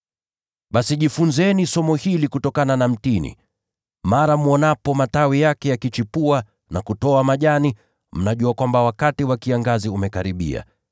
“Basi jifunzeni somo hili kutokana na mtini: Matawi yake yanapoanza kuchipua na kutoa majani, mnatambua kwamba wakati wa kiangazi umekaribia.